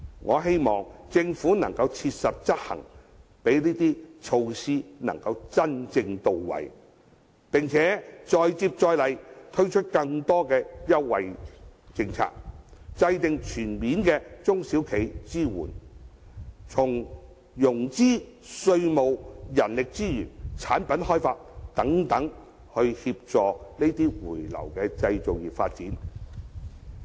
我希望政府能切實執行，讓這些措施能真正到位，並再接再厲，推出更多優惠政策，制訂全面的中小企支援計劃，從融資、稅務、人力資源、產品開發等方面，協助回流的製造業發展。